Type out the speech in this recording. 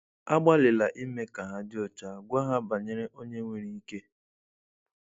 Agbalịla ime ka ha dị ọcha, gwa ha banyere Onye nwere ike.